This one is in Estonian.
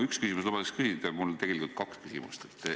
Üks küsimus lubatakse küsida, aga mul on tegelikult kaks küsimust.